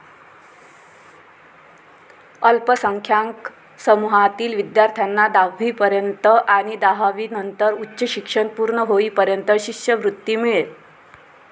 अल्पसंख्यांक समूहातील विध्यार्थ्यांना दहावीपर्यंत आणि दहावीनंतर उच्च शिक्षण पूर्ण होईपर्यंत शिष्यवृत्ती मिळेल.